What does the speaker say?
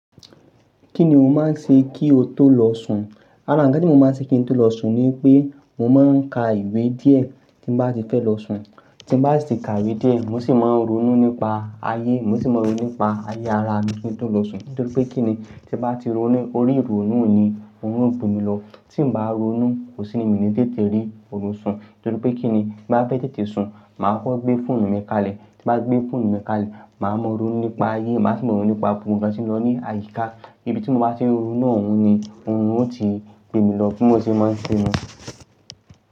Kí ni o máa ń ṣe kí o tó lọ sùn? Ara ǹ kan tí mo máa ń ṣe kí n tó lọ sùn ni pé, mo máa ń ka ìwé díẹ̀ tí n bá ti fẹ́ lọ sùn. Tí m bá sì ti ka ìwé díẹ̀, mo sì máa ń ronú nípa ayé, mo sì máa ń ronú nípa ayé ara mi kí n tó lọ sùn. Nítorí pé kí ni? Tí m bá ti ronú, orí ìrònú ni òrun ó gbé mi lọ. Tí m bá ronú, kò sí ni mí ní tètè rí òrùn sùn. Nítorí pé kí ni? Bí m bá fẹ́ tètè sùn, màá kọ gbé fóònù mi kalẹ̀. Tí m bá gbé fóònù mi kalẹ̀, màá mọ̀ ọ́n ronú nípa ayé, màá sì máa mọ̀ ọ́n ronú nípa gbogbo ǹkan tí ń lọ ní àyíká. Ibi tí mo bá ti ń ronu náà ni, òrun ó ti gbé mi lọ. Bí mo ṣe máa ń ṣe ni.